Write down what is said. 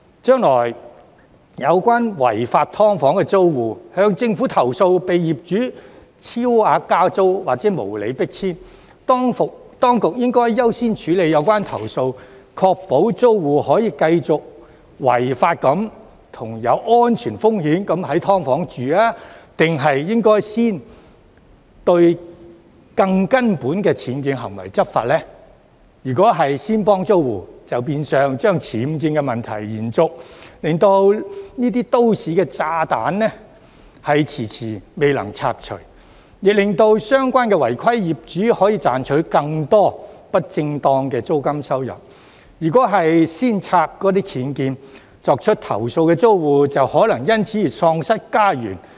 將來，若有關違法"劏房"的租戶向政府投訴被業主超額加租或無理迫遷，當局應該優先處理有關投訴，確保租戶可以繼續在違法及有安全風險的"劏房"居住，還是應該先對更根本的僭建行為執法呢？如果當局先幫租戶，就變相把僭建問題延續，令這些"都市炸彈"遲遲未能拆除，亦令相關違規業主可以賺取更多不正當的租金收入；如果先拆僭建，作出投訴的租戶就可能因而喪失家園。